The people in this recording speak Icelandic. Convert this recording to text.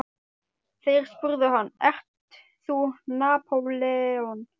Þeir spurðu hann: ert þú Napóleon?